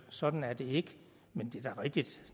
sådan er det ikke men det er da rigtigt